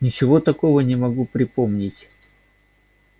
ничего такого не могу припомнить